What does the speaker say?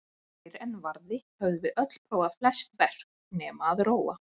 Fyrr en varði höfðum við öll prófað flest verk- nema að róa.